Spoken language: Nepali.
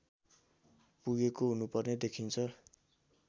पुगेको हुनुपर्ने देखिन्छ